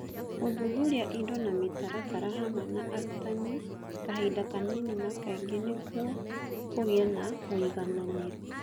Gũthuthuria indo na mĩtaratara hamwe na arutani kahinda kanini na kaingĩ nĩguo kũgĩe na ũigananĩru